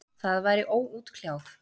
Það væri óútkljáð.